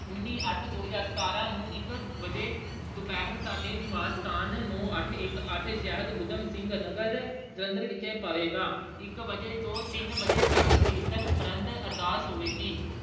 ਉਂੱਨੀ ਅੱਠ ਦੋ ਹਜ਼ਾਰ ਸਤਾਰਾਂ ਨੂੰ ਇੱਕ ਅਹ ਵਜੇ ਅਹ ਦੁਪਿਹਰ ਸਾਡੇ ਨਿਵਾਸ ਸਥਾਨ ਨੌਂ ਅੱਠ ਇੱਕ ਅੱਠ ਸ਼ਹਿਰ ਊਧਮ ਸਿੰਘ ਨਗਰ ਜਲੰਧਰ ਵਿਖੇ ਪਵੇਗਾ ਇੱਕ ਵਜੇ ਤੋਂ ਤਿੰਨ ਵਜੇ ਕੀਰਤਨ ਉਪਰੰਤ ਅਰਦਾਸ ਹੋਵੇਗੀ।